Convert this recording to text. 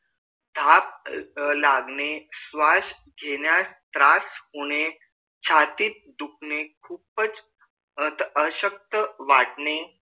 ताप लागणे श्वास घेण्यास त्रास होणे छातीत दुखणे खूपच अशक्त वाटणे